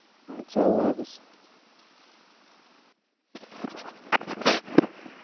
আচ্ছা আল্লাহ হাফেজ।